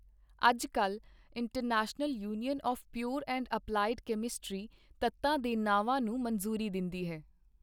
ਅੱਜ ਕਲ International Union of Pure and Applied Chemistry ਤੱਤਾਂ ਦੇ ਨਾਵਾਂ ਨੂੰ ਮਨਜ਼ੂਰੀ ਦਿੰਦੀ ਹੈ